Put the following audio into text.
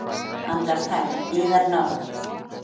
Andartak, yðar náð!